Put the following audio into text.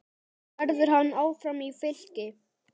Verður hann áfram í Fylki?